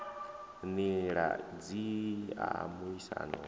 nila idzi wa muaisano wo